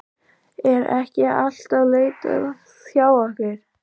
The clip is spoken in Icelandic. Er ekki alltaf leitað hjá okkur?